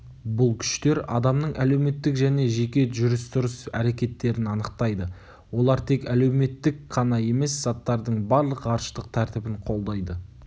бұл күштер адамның әлеуметтік және жеке жүріс-тұрыс әрекеттерін анықтайды олар тек әлеуметтік қана емес заттардың барлық ғарыштық тәртібін қолдайды